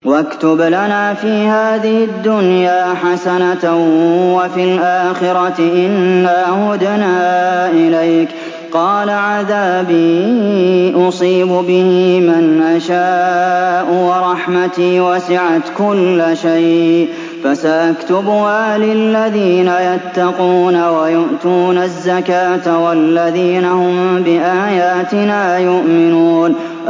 ۞ وَاكْتُبْ لَنَا فِي هَٰذِهِ الدُّنْيَا حَسَنَةً وَفِي الْآخِرَةِ إِنَّا هُدْنَا إِلَيْكَ ۚ قَالَ عَذَابِي أُصِيبُ بِهِ مَنْ أَشَاءُ ۖ وَرَحْمَتِي وَسِعَتْ كُلَّ شَيْءٍ ۚ فَسَأَكْتُبُهَا لِلَّذِينَ يَتَّقُونَ وَيُؤْتُونَ الزَّكَاةَ وَالَّذِينَ هُم بِآيَاتِنَا يُؤْمِنُونَ